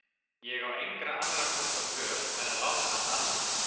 Ég á engra annarra kosta völ en að láta hann annast ykkur.